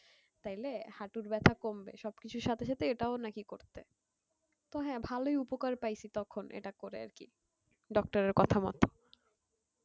তাহলে হাঁটুর ব্যথা কমবে সব কিছুর সাথে সাথে এটাও নাকি করতে তো হ্যাঁ ভালোই উপকার পাইছি তখন এটা করে আর কি doctor এর কথা মতো